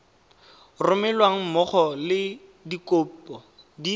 romelweng mmogo le dikopo di